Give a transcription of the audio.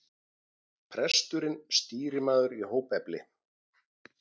Presturinn stýrimaður í hópefli.